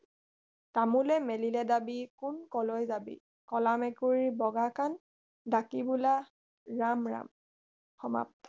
তামোলে মেলিলে ডাবি কোন কলৈ যাবি কলা মেকুৰীৰ বগা কাণ ডাকি বোলা ৰাম ৰাম সমাপ্ত